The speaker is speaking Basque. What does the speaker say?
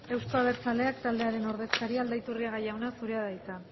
euzko abertzaleak taldearen ordezkaria aldaiturriaga jauna zurea da hitza